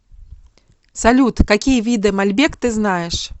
салют какие виды мальбек ты знаешь